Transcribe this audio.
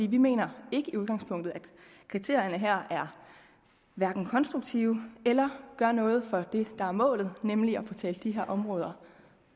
vi mener i udgangspunktet at kriterierne her hverken er konstruktive eller gør noget for det der er målet nemlig at få talt de her områder